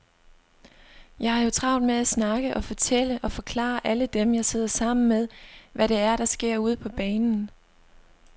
Jeg har jo travlt med at snakke og fortælle og forklare alle dem, jeg sidder sammen med, hvad det er, der sker ude på banen.